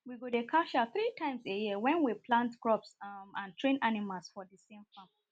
we go dey cash out tree times a year wen we plant crops um and train animals for thesame farm